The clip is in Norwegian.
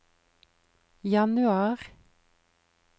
januar